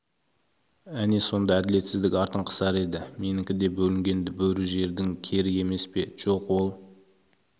әне сонда әділетсіздік артын қысар еді менікі де бөлінгенді бөрі жердің кері емес пе жоқ ол